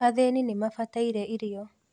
Athĩĩni nĩmabataire irio